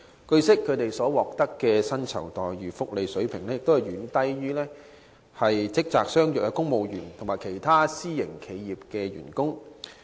據悉，他們所獲薪酬福利的水平遠低於職責相若的公務員及其他私營企業僱員的水平。